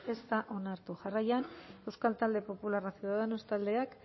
ez da onartu jarraian euskal talde popularra ciudadanos taldeak